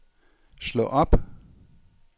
slå op